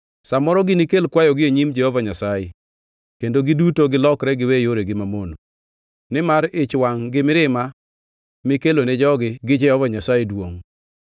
Sa moro ginikel kwayogi e nyim Jehova Nyasaye, kendo giduto gilokre giwe yoregi mamono, nimar ich wangʼ gi mirima mikelone jogi gi Jehova Nyasaye duongʼ.”